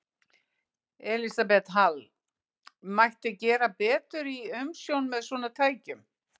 Elísabet Hall: Mætti gera betur í umsjón með svona tækjum?